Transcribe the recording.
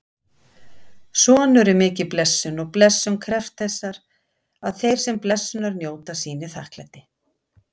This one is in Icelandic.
Sonur er mikil blessun og blessun krefst þess að þeir sem blessunar njóta sýni þakklæti.